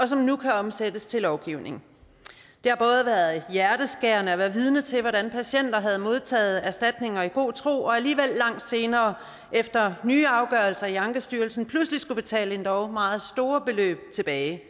som nu kan omsættes til lovgivning det har været hjerteskærende at være vidne til hvordan patienter som modtaget erstatninger i god tro langt senere efter nye afgørelser i ankestyrelsen pludselig skulle betale endog meget store beløb tilbage